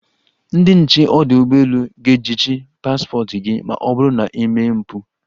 Ndị nche ọdụ ụgbọelu ga-ejichi paspọt gị ma ọ bụrụ na i mee mpụ.